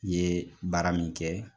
I ye baara min kɛ